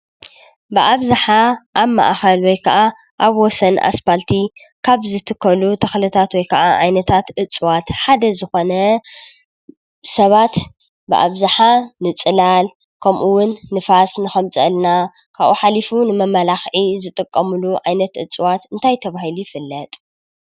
ብአብዝሓ አብ ማእከል ወይ አብ ወሰን አስፋልቲ ካብ ዝትከሉ ተክልታት ወይ ከዓ እፅዋት ሓደ ዝኮነ ሰባት ብአብዝሓ ፅላል ከምኡ እውን ንፋስ ንከምፅአልና ካብኡ ሓሊፉ ንመማላክዒ ዝጥቀምሉ ዓይነት እፅዋት እንታይ ተባሂሉይበሃል?